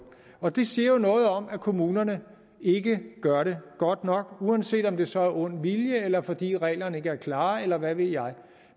og det siger jo noget om at kommunerne ikke gør det godt nok uanset om det så er af ond vilje eller fordi reglerne ikke er klare eller hvad ved jeg